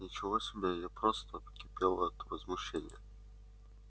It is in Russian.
ничего себе я просто кипела от возмущения